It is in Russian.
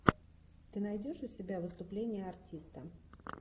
ты найдешь у себя выступление артиста